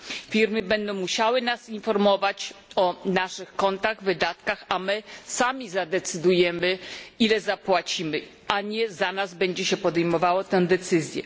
Firmy będą musiały nas informować o naszych kontach, wydatkach, my sami zadecydujemy, ile zapłacimy, a nie za nas będzie się podejmowało tę decyzję.